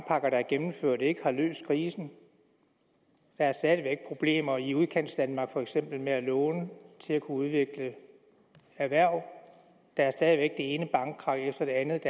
der er gennemført ikke har løst krisen der er stadig væk problemer i udkantsdanmark for eksempel med at låne til at kunne udvikle erhverv og der er stadig væk det ene bankkrak efter det andet